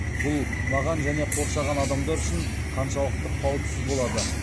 бұл маған және қоршаған адамдар үшін қаншалықты қауіпсіз болады